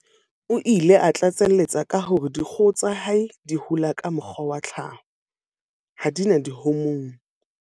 O ile a tlatseletsa ka hore dikgoho tsa hae di hola ka mokgwa wa tlhaho, ha di na dihomoune.